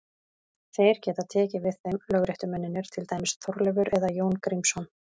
Þeir geta tekið við þeim lögréttumennirnir, til dæmis Þorleifur eða Jón Grímsson.